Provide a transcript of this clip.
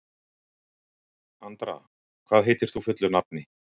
Andra, hvað heitir þú fullu nafni?